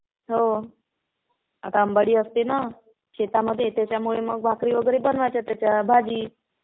हो. आता अंबाडी असते ना? शेतामध्ये. त्याच्यामुळे मग भाकरी वगैरे बनवायच्या त्याच्या. भाजी.